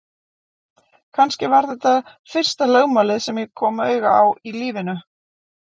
Kannski var þetta fyrsta lögmálið sem ég kom auga á í lífinu.